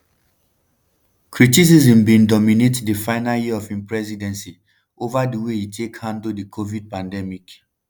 criticism bin dominate di final year of im presidency ova di way e take handle di covid pandemic.